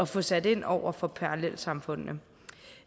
få sat ind over for parallelsamfundene